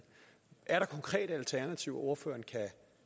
er der konkrete alternativer så ordføreren kan